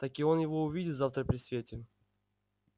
таки он его увидит завтра при свете